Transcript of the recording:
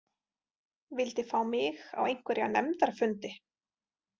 Vildi fá mig á einhverja nefndarfundi.